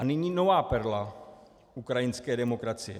A nyní nová perla ukrajinské demokracie.